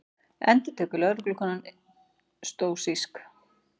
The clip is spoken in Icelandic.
endurtekur lögreglukonan stóísk.